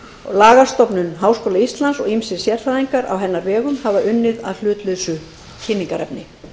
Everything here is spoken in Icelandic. lagastofnun háskóla íslands og ýmsir sérfræðingar á hennar vegum hafa unnið að hlutlausu kynningarefni